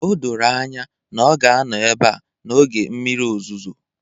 O doro anya na ọ ga-anọ ebe a n'oge mmiri ozuzo